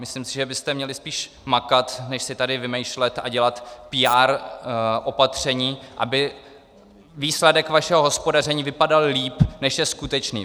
Myslím si, že byste měli spíše makat, než si tady vymýšlet a dělat PR opatření, aby výsledek vašeho hospodaření vypadal lépe, než je skutečný.